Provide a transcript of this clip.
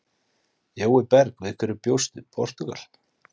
Jói Berg: Við hverju bjóst Portúgal?